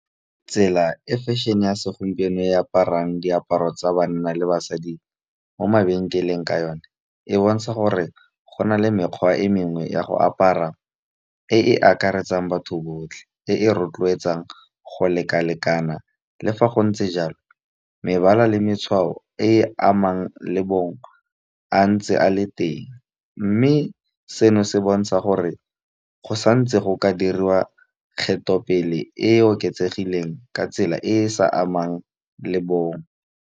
Tsela e fashion-e ya segompieno e aparang diaparo tsa banna le basadi mo mabenkeleng ka yone e bontsha gore go na le mekgwa e mengwe ya go apara e e akaretsang batho botlhe, e e rotloetsang go lekalekana le fa go ntse jalo mebala le matshwao e amang le bong a ntse a le teng. Mme seno se bontsha gore go santse go ka diriwa kgetho pele e oketsegileng ka tsela e e sa amang le bong.